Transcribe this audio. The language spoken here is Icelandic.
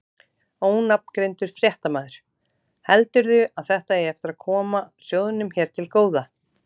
Ónafngreindur fréttamaður: Heldurðu að þetta eigi eftir að koma sjóðnum hér til góða?